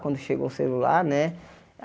Quando chegou o celular, né?